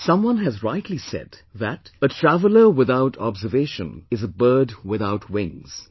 Someone has rightly said that "A traveller without observation is a bird without wings"